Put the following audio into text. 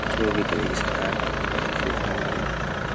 जो भी करेगी सरकार देख देखा जाएगा।